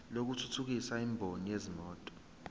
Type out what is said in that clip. lokuthuthukisa imboni yezimoto